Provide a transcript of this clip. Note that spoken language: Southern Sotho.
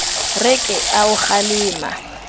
re ke a o kgalema